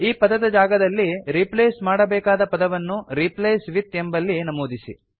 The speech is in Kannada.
ಈ ಪದದ ಜಾಗದಲ್ಲಿ ರೀಪ್ಲೇಸ್ ಮಾಡಬೇಕಾದ ಪದವನ್ನು ರಿಪ್ಲೇಸ್ ವಿತ್ ಎಂಬಲ್ಲಿ ನಮೂದಿಸಿ